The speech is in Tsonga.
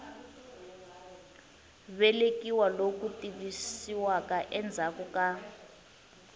velekiwa loku tivisiwaka endzhaku ka